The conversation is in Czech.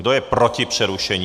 Kdo je proti přerušení?